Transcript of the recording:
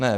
Ne.